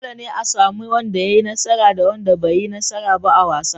Dole ne a sami wanda ya yi nasara da wanda bai yi nasara ba a wasa.